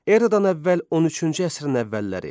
Eradan əvvəl 13-cü əsrin əvvəlləri.